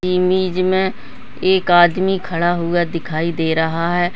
Image में एक आदमी खड़ा हुआ दिखाई दे रहा है।